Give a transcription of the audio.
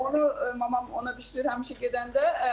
Onu mamam ona bişirir həmişə gedəndə.